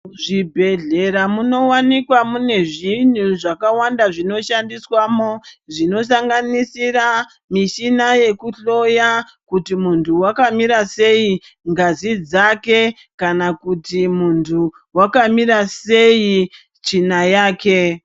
Zvibhedhlera munowanikwa mune zvintu zvakawanda zvinoshandiswamo zvinosanganisira mishina yekuhloya kuti muntu wakamira sei ngazi dzake kana kuti muntu wakamira sei tsvina yake.